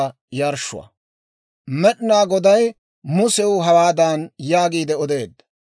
Med'inaa Goday Musew hawaadan yaagiide odeedda;